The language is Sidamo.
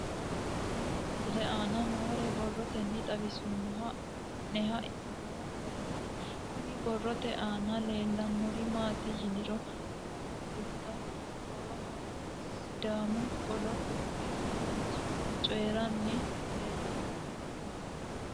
Tenne misile aana noore borroteni xawiseemohu aane noo gariniiti. Kunni borrote aana leelanori maati yiniro umoho gutta goowaho sidaamu qollo wodhino manchi coyiranni leelano.